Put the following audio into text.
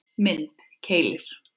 Mynd: Keilir